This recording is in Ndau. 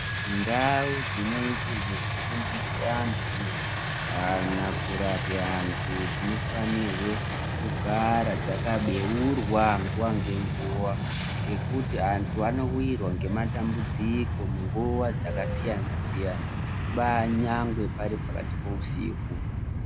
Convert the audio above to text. Ndau dzinoite zvekufundise antu kana kurape vantu dzinofanirwe kugara dzakabeurwa nguwa ngenguwa ngekuti antu anowirwa ngematambudziko munguwa dzakasiyana siyana kubaa nyangwe pari pakati pousiku.